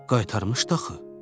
Qaytarmışdı axı.